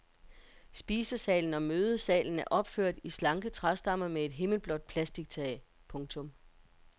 Spisesalen og mødesalen er opført i slanke træstammer med et himmelblåt plastictag. punktum